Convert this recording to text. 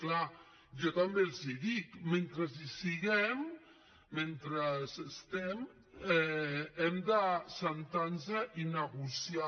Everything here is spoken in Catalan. clar jo també els hi dic mentre hi siguem mentre estem hem d’asseure’ns i negociar